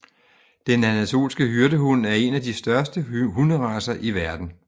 Den anatolske hyrdehund er en af de største hunderacer i verden